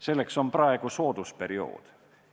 Selleks on praegu soodus periood.